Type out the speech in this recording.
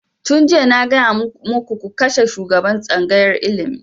Tun jiya na gaya muku ku kashe shugaban tsangayar ilimi!